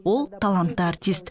ол талантты артист